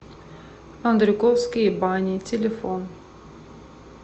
андрюковские бани телефон